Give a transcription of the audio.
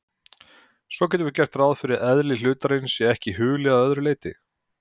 Svo getum við gert ráð fyrir að eðli hlutarins sé okkur hulið að öðru leyti.